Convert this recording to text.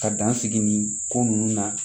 Ka dan sigi nin ko nunnu na